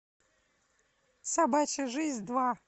собачья жизнь два